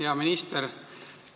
Hea minister!